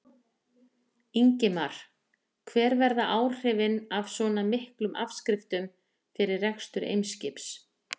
Ingimar: Hver verða áhrifin af svona miklum afskriftum fyrir rekstur Eimskips?